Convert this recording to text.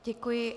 Děkuji.